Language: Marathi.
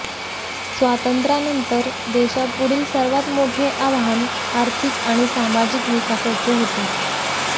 स्वातंत्र्यानंतर देशापुढील सर्वात मोठे आव्हान आर्थिक आणि सामाजिक विकासाचे होते